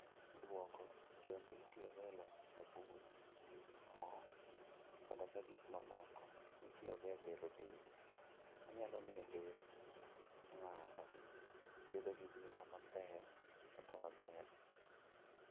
Duogo bende itiyogo e loso sabun, mo, koda gik mamoko mitiyogo e bero del. Onyalo miyo dend ng'ato obed gi ngima maber kendo maber.